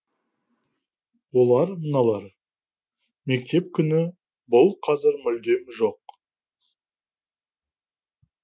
олар мыналар мектеп күні бұл қазір мүлдем жоқ